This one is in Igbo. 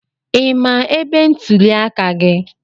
I ma ebe ntuli aka gị?